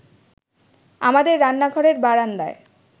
আমাদের রান্নাঘরের বারান্দায়